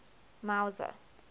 mauzer